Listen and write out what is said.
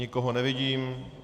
Nikoho nevidím.